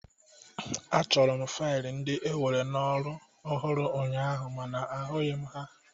Achọrọ m fail ndị e were n'ọrụ ọhụrụ ụnyaahụ mana ahụghi m ha.